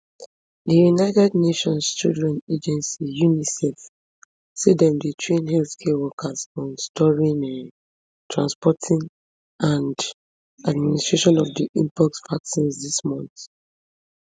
di united nations children agency unicef say dem dey train healthcare workers on storing um transporting and administering of di mpox vaccines dis month